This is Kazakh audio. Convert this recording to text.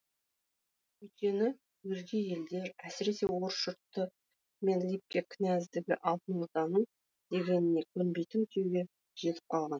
өйткені өзге елдер әсіресе орыс жұрты мен либке князьдігі алтын орданың дегеніне көнбейтін күйге жетіп қалған